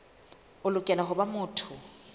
o lokela ho ba motho